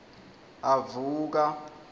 avuka